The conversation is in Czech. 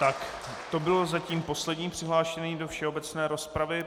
Tak to byl zatím poslední přihlášený do všeobecné rozpravy.